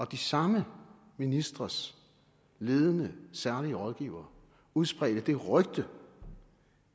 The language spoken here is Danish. de samme ministres ledende særlige rådgivere udspredte det rygte